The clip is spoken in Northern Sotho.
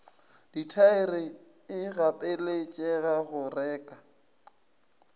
dithaere e gapeletšega go reka